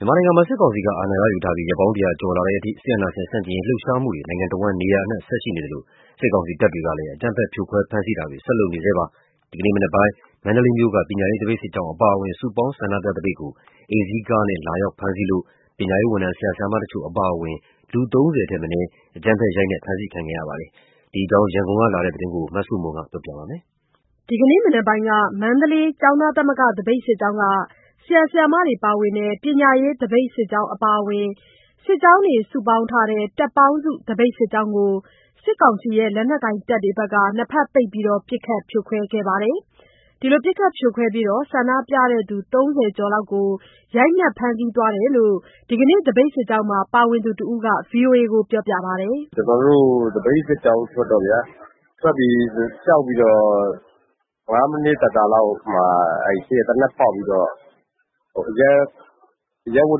မြန်မာနိုင်ငံမှာ စစ်ကောင်စီက အာဏာရယူထားပြီး ရက်ပေါင်း ၁၀၀ ကျော်လာတဲ့အထိ စစ်အာဏာရှင်ဆန့်ကျင်ရေးလှုပ်ရှားမှုတွေ နိုင်ငံတစ်ဝှမ်းနေရာအနှံ့ ဆက်ရှိနေသလို စစ်ကောင်စီတပ်တွေကလည်း အကြမ်းဖက်ဖြိုခွဲဖမ်းဆီးတာတွေ ဆက်လုပ်နေပါတယ်။ ဒီကနေ့မနက်ပိုင်း မန္တလေးမြို့က ပညာရေးသပိတ်စစ်ကြောင်းအပါအဝင် စုပေါင်းဆန္ဒပြသပိတ်ကို အိမ်စီးကားနဲ့ လာရောက်ဖမ်းဆီးခဲ့လို့ ပညာရေးဝန်ထမ်း ဆရာ၊ ဆရာမတချို့အပါအဝင် လူ ၃၀ ထက်မနည်း အကြမ်းဖက်ရိုက်နှက် ဖမ်းဆီးခံကြရတာတွေ ရှိပါတယ်။ ဒီအကြောင်း ရန်ကုန်ကလာတဲ့ သတင်းကို မဆုမွန်က ပြောပြပါမယ်။ ဒီကနေ့မနက်ပိုင်းက မန္တလေးကျောင်းသားသမဂ္ဂသပိတ်စစ်ကြောင်းက ဆရာ၊ ဆရာမတွေပါဝင်တဲ့ ပညာရေး သပိတ်စစ်ကြောင်းအပါအဝင် စစ်ကြောင်းတွေ စုပေါင်းထားတဲ့ တပ်ပေါင်းစု သပိတ်စစ်ကြောင်းကို စစ်ကောင်စီရဲ့ လက်နက်ကိုင်တပ်တွေက နှစ်ဘက်ပိတ် ပစ်ခတ်ဖြိုခွဲခဲ့ပြီး ဆန္ဒပြသူ ၃၀ ကျော်လောက်ကို ရိုက်နှက်ဖမ်းဆီးသွားတယ်လို့ ဒီကနေ့ သပိတ်စစ်ကြောင်းမှာ ပါဝင်သူတစ်ဦးက ဗွီအိုအေကိုပြောပါတယ်။ “ကျနော်တို့ သပိတ်စစ်ကြောင်းထွက်တော့ဗျာ ထွက်ပြီး လျှောက်ပြီးတော့ ၅ မိနစ် သာသာလောက်မှာ ရှေ့က သေနတ်ဖောက်ပြီးတော့ အရပ်ဝ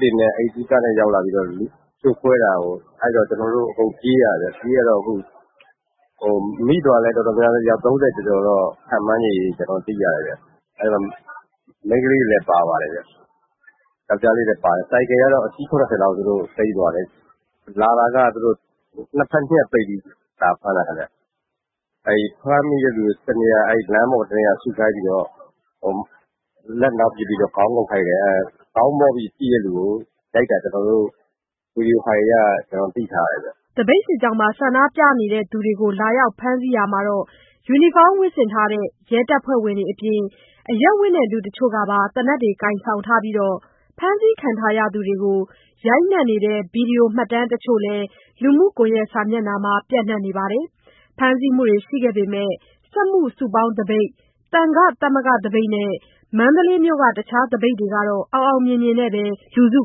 တ်တွေနဲ့ အိမ်စီးကားနဲ့ ရောက်လာပြီးတော့ လူစုခွဲတာပေါ့၊ အဲ့ဒီတော့ ကျနော်တို့ အကုန်ပြေးရတာပေါ့။ ပြေးရတော့ အခု မိသွားတဲ့သူတော်တော်များများ ၃၀ ကျော်တယ်လို့ ခုလတ်တလော ကျနော်တို့ သိရတယ်ဗျ။ မိန်းကလေးတွေလည်း ပါတယ်၊ ယောကျ်ားလေးတွေလည်း ပါတယ်။ ဆိုင်ကယ်ကတော့ အစီး ၇၀ လောက်သူတို့သိမ်းသွားတယ်။ လာတာက သူတို့နှစ်ဘက်ညှပ်ပိတ်ပြီး လာဖမ်းတာဗျ။ ဖမ်းပြီးတဲ့သူတွေကို လမ်းပေါ်တစ်နေရာစုထားပြီးတော့ လက်နောက်ပစ်ပြီးတော့ ခေါင်းငုံ့ခိုင်းတယ်။ ခေါင်းမော့ပြီး ကြည့်တဲ့သူကို ရိုက်တာ ကျနော်တို့ Video Files အရ သိထားရတယ်ဗျ။” လာရောက်ဖမ်းဆီးရာမှာ ယူနီဖောင်းဝတ်ဆင်ထားတဲ့ ရဲတပ်ဖွဲ့ဝင်တွေအပြင် အရပ်ဝတ်နဲ့လူတချို့က သေနတ်ကိုင်ဆောင်ထားပြီး ဖမ်းဆီးခံထားရသူတွေကို ရိုက်နှက်နေတဲ့ ဗီဒီယိုမှတ်တမ်းတချို့လည်း လူမှုကွန်ယက်စာမျက်နှာမှာ ပျံ့နှံ့နေပါတယ်။ ဖမ်းဆီးမှုတွေရှိခဲ့ပေမဲ့ စက်မှုစုပေါင်းသပိတ်၊ သံဃာသမဂ္ဂသပိတ်နဲ့ မန္တလေးမြို့က တခြားသပိတ်တွေကတော့ အောင်အောင်မြင်မြင်နဲ့ပဲ လူစု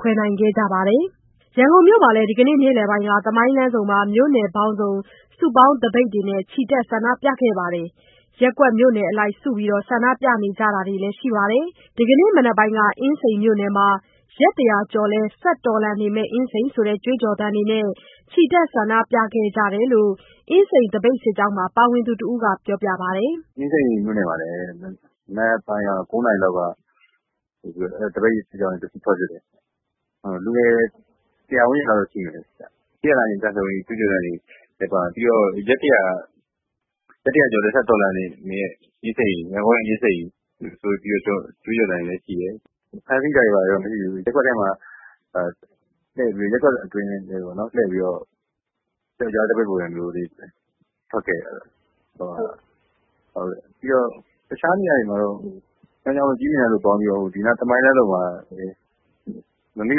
ခွဲနိုင်ခဲ့ကြပါတယ်။ ရန်ကုန်မှာလည်း ဒီကနေ့ နေ့လယ်က သမိုင်းလမ်းဆုံမှာ မြို့နယ်ပေါင်းစုံ စုပေါင်းသပိတ်ချီတက် ဆန္ဒပြခဲ့ကြပါတယ်။ ရပ်ကွက် မြို့နယ်အလိုက်စုပြီး ဆန္ဒပြကြတာတွေလည်း ရှိပါတယ်။ ဒီနေ့မနက်ပိုင်းက အင်းစိန်မြို့နယ်မှာ "ရက် ၁၀၀ ကျော်လည်း ဆက်တော်လှန်နေမယ့် အင်းစိန်" ဆိုတဲ့ ကြွေးကြော်သံတွေနဲ့ ချီတက် ဆန္ဒပြခဲ့ကြတယ်လို့ အင်းစိန် သပိတ်စစ်ကြောင်းမှာ ပါဝင်သူတစ်ဦးက ပြောပါတယ်။ “အင်းစိန်မြို့နယ်မှာလည်း မနက်ပိုင်းက ၉ နာရီလောက်က သပိတ်စစ်ကြောင်း တစ်ခုထွက်ဖြစ်တယ်။ လူငယ် ၁၀၀ ဝန်းကျင်လောက်တော့ရှိမယ်။ စစ်အာဏာရှင်ဆန့်ကျင်ရေး ကြွေးကြော်သံတွေ၊ ပြီးတော့ ရက် ၁၀၀ ကျော်လည်း ဆက်တော်လှန်နေမယ့် ရန်ကုန်ရဲ့ အင်းစိန်ဆိုတဲ့ ကြွေးကြော်သံတွေလည်း ပါတယ်။ ဖမ်းဆီးတာတွေ ဘာတွေတော့မရှိဘူး ရပ်ကွက်တွေအတွင်းလှည့်ပြိးတော့ ပျောက်ကြားသပိတ်ပုံစံမျိုးလေး ထွက်ခဲ့တယ်ဗျ။ ပြီးတော့ စမ်းချောင်းတို့၊ ကြည့်မြင်တိုင်တို့ပေါင်း ပြီးတော့ သမိုင်းလမ်းဆုံမှာ နေ့လ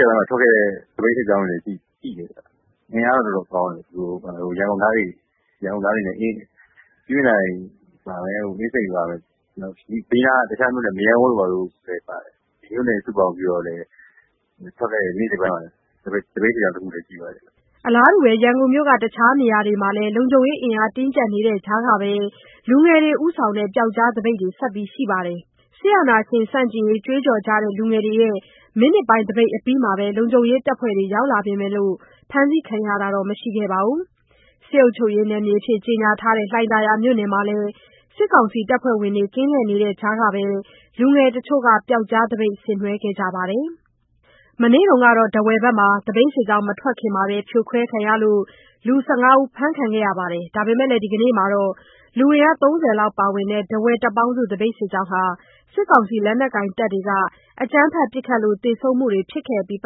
ယ်ပိုင်းမှာ ထွက်ခဲ့တဲ့ သပိတ်စစ်ကြောင်းတွေ ရှိတယ်။ အင်အားတော့ တော်တော်ကောင်းတယ်။ ရန်ကုန်သားတွေနဲ့ ကြည့်မြင်တိုင်၊ အင်းစိန်ဘေးက မရမ်းကုန်းတို့၊ ဘာတို့လည်း ပါတယ်။ မြို့နယ်တွေ စုပေါင်းထွက်တဲ့ သပိတ်စစ်ကြောင်း တစ်ခုလည်း ရှိတယ်။” ရန်ကုန်မြို့က တခြားနေရာတွေမှာလည်း လုံခြုံရေးအင်အား တင်းကြပ်နေတဲ့ကြားကပဲ လူငယ်တွေ ဦးဆောင်တဲ့ ပျောက်ကြားသပိတ်တွေ ဆက်ရှိနေပါတယ်။ စစ်အာဏာရှင်ဆန့်ကျင်ရေး ကြွေးကြော်ကြတဲ့လူငယ်တွေရဲ့ မိနစ်ပိုင်းသပိတ်အပြီး လုံခြုံရေးတဖွဲ့တွေရောက်လာပေမယ့် ဖမ်းဆီးခံရတာတော့ မရှိခဲ့ပါဘူး။ စစ်အုပ်ချုပ်ရေးကြေညာထားတဲ့ လှိုင်သာယာမြို့နယ်မှာလည်း စစ်ကောင်စီတပ်ဖွဲ့ဝင်တွေ ကင်းလှည့်နေတဲ့ကြားကပဲ လူငယ်တစ်ချို့ ပျောက်ကြားသပိတ် ဆင်နွဲခဲ့ကြပါတယ်။ မနေ့က ထားဝယ်မှာ သပိတ်စစ်ကြောင်း မထွက်ခင် ဖြိုခွဲခံရလို့ လူ ၁၅ ဦးဖမ်းဆီးခံခဲ့ရပေမဲ့ ဒီကနေ့မှာတော့ လူအင်အား ၃၀ လောက်ပါဝင်တဲ့ ထားဝယ်တပ်ပေါင်းစု သပိတ်စစ်ကြောင်းက စစ်ကောင်စီလက်နက်ကိုင်တပ်တွေက အကြမ်းဖက်ပစ်ခတ်လို့ သေဆုံးမှုတွေ ဖြစ်ခဲ့ပြီး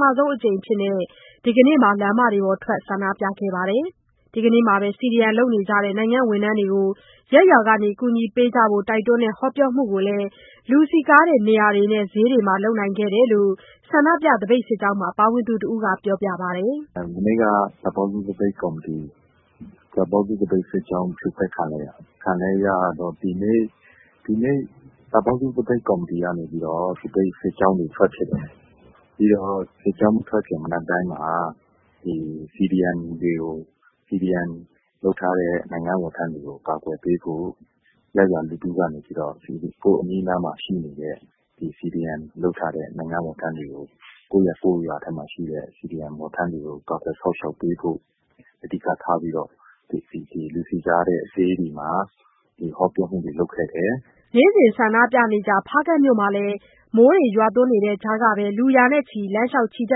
နောက်ပိုင်း ပထမဆုံးအကြိမ် ဒီနေ့မှာ လမ်မကြီးတွေပေါ်မှာ ထွက်ပြီး ဆန္ဒပြခဲ့ကြပါတယ်။ ဒီကနေ့မှာ CDM လုပ်နေကြတဲ့ နိုင်ငံဝန်ထမ်းတွေကို ရပ်ရွာက ကူညီပေးကြဖို့ တိုက်တွန်းတဲ့ ဟောပြောမှုကိုလည်း လူစည်ကားတဲ့ နေရာတွေနဲ့ ဈေးတွေမှာ လုပ်ခဲ့တယ်လို့ ဆန္ဒပြ စစ်ကြောင်းမှာ ပါဝင်သူတစ်ဦးက ပြောပါတယ်။ “မနေ့က တပ်ပေါင်းစု သပိတ်စစ်ကြောင်း ဖြိုခွဲခံလိုက်ရတယ်။ ဒီနေ့လည်း တပ်ပေါင်းစု သပိတ်ကော်မတီကနေ သပိတ်စစ်ကြောင်းတွေ ထွက်ဖြစ်တယ်။ ပြီးတော့ စစ်ကြောင်းမထွက်ခင် မနက်ပိုင်းမှာ CDM လုပ်ထားတဲ့ ဝန်ထမ်းတွေကို ရပ်ရွာလူထုကနေ ကာကွယ်ပေးဖို့ အဓိကထားပြီးတော့ လူစည်ကားတဲ့ ဈေးတွေမှာ ဟောပြောမှုတွေ လုပ်ခဲ့တယ်။” နေ့စဉ်ဆန္ဒပြနေကျ ဖားကန့်မြို့မှာလည်း မိုးရွာနေတဲ့ကြားမှာပဲ လူရာနဲ့ချီ လမ်းလျှောက်ချီတ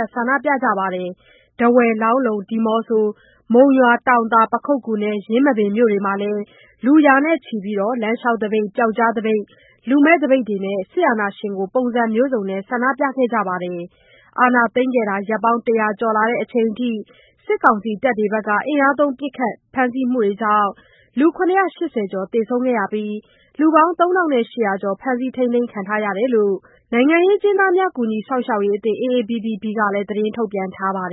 က်ဆန္ဒပြကြပါတယ်။ ထားဝယ်၊ လောင်းလုံ၊ ဒီမောဆိုး၊ မုံရွာ၊ တောင်သာ၊ ပခုက္ကူ နဲ့ ယင်းမာပင်မြို့တွေမှာလည်း လူရာချီလမ်းလျှောက်သပိတ်၊ ပျောက်ကြားသပိတ်၊ လူမဲ့သပိတ်တွေနဲ့ စစ်အာဏာရှင်ကို ပုံစံမျိုးစုံနဲ့ ဆန္ဒပြကြပါတယ်။ အာဏာသိမ်းရက်ပေါင်း ၁၀၀ ကျော်လာတဲ့အချိန်အထိ စစ်ကောင်စီတပ်တွေရဲ့ အင်အားသုံး ပစ်ခတ်ဖမ်းဆီးမှုကြောင့် ၇၈၀ ကျော် သေဆုံးခဲ့ပြီး လူပေါင်း ၃,၈၀၀ ကျော် ဖမ်းဆီးခံထားရတယ်လို့ နိုင်ငံရေးအကျဉ်းသားများ ကူညီစောင့်ရှောက်ရေးအသင်း AAPP ကထုတ်ပြန်ထားပါတယ်